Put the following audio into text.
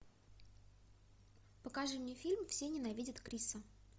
покажи мне фильм все ненавидят криса